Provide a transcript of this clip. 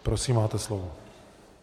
Prosím, máte slovo.